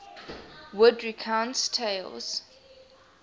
wood recounts tales